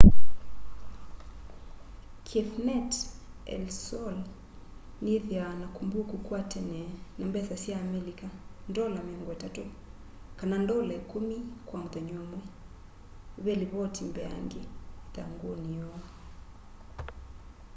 cafenet el sol niyithwaa na kumbuku kwa tene na mbesa sya amelika ndola 30 kana ndola ikumi kwa muthenya umwe ve livoti mbeange ithanguni yoo